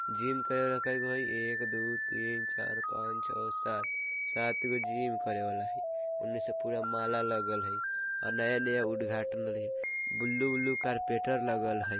जिम करने करा बई एक दो तीन चार पंच छ सात सात तो जिम करे बाला हई उनमे से पूरा माला लगल हई और नया नया उद्घाटन हई ब्लू ब्लू कार्पेटर लगल हई ।